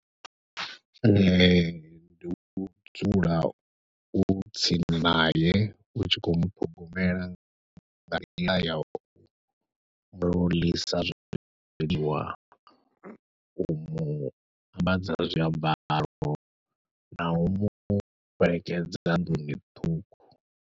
Ee ndi u dzula u tsini nae u tshi khou muṱhogomela nga nḓila yau muḽisa zwiḽiwa, u muambadza zwiambaro, nau mufhelekedza nḓuni ṱhukhu.